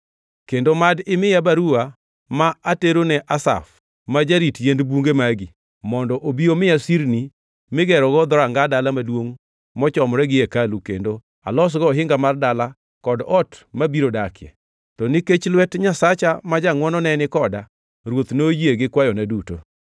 Kendo mad imiya baruwa ma aterone Asaf, ma jarit yiend bunge magi, mondo obi omiya sirni migerogo dhoranga dala maduongʼ mochomore gi hekalu kendo alosgo ohinga mar dala kod ot mabiro dakie?” To nikech lwet Nyasacha ma jangʼwono ne ni koda, ruoth noyie gi kwayona duto.